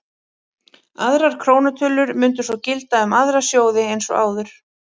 Aðrar krónutölur mundu svo gilda um aðra sjóði eins og áður.